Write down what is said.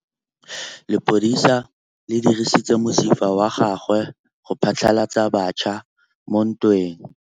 Lepodisa le dirisitse mosifa wa gagwe go phatlalatsa batšha mo ntweng.